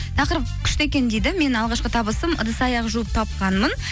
тақырып күшті екен дейді мен алғашқы табысым ыдыс аяқ жуып тапқанмын